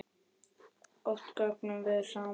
Og oft göngum við saman.